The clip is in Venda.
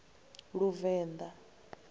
luvenḓa